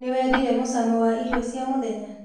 Nĩwendire mũcamo wa iro cia mũthenya?